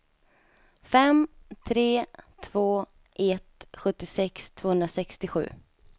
fem tre två ett sjuttiosex tvåhundrasextiosju